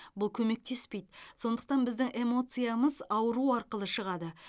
бұл көмектеспейді сондықтан біздің эмоциямыз ауру арқылы шығады